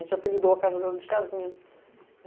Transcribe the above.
A gente apelidou a casa dela de casinha.